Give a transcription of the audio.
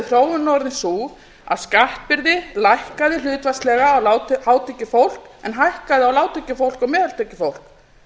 þróunin orðið sú að skattbyrði lækkaði hlutfallslega á hátekjufólk en hækkaði á lágtekjufólk og meðaltekjufólk